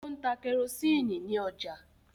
O ń tá kerosiini ní ọjà.